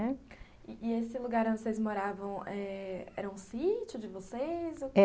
E e esse lugar onde vocês moravam eh era um sítio de vocês?